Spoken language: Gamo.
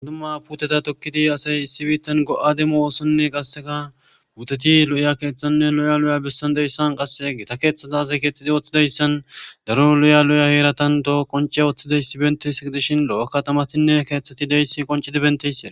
Idumma puteta tokkidi asay isibiittan go'a demo oosonne qasseka puuteti lo'iya keeththanne lo'ya lo'ya bessan deyssan qase age ta keeththata aze keexxidi ooththidayssan daro lo'ya lo'ya heeratan toho qonce ooththidays bentesei dishin lo'akatamatinne keeththeti deyssi qoncidi bentese.